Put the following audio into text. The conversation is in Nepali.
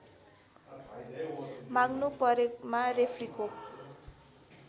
माग्नु परेमा रेफ्रीको